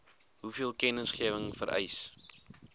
hoeveel kennisgewing vereis